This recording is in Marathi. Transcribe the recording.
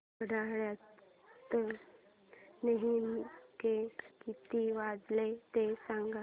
घड्याळात नेमके किती वाजले ते सांग